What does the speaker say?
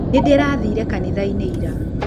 Nĩ ndĩrathire kanitha-inĩ ira.